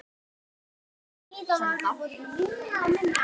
Ég finn strax muninn.